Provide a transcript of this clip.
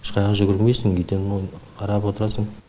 ешқайда жүгірмейсің үйден оны қарап отырасың